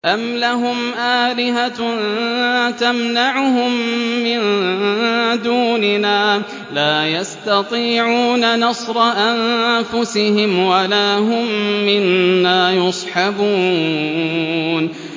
أَمْ لَهُمْ آلِهَةٌ تَمْنَعُهُم مِّن دُونِنَا ۚ لَا يَسْتَطِيعُونَ نَصْرَ أَنفُسِهِمْ وَلَا هُم مِّنَّا يُصْحَبُونَ